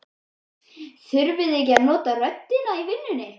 Þurfið þið ekki að nota röddina í vinnu?